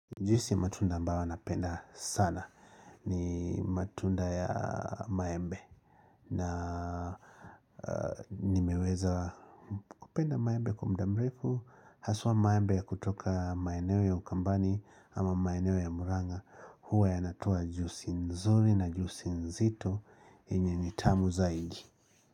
Juisi ya matunda ambawa napenda sana ni matunda ya maembe na nimeweza kupenda maembe kwa mda mrefu haswa maembe ya kutoka maeneo ya ukambani ama maeneo ya Murang'a huwa yanatoa jusi nzuri na jusi nzito yenye ni tamu zaidi.